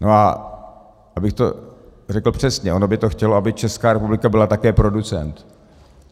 No a abych to řekl přesně, ono by to chtělo, aby Česká republika byla také producent.